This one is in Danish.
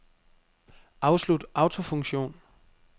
Afslut autofunktion.